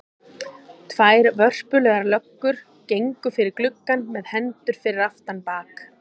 Tvær vörpulegar löggur gengu fyrir gluggann með hendur fyrir aftan bak.